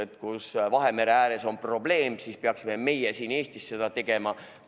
Ja kui Vahemere ääres on suur prügiprobleem, siis miks peaksime meie siin Eestis midagi sellist tegema?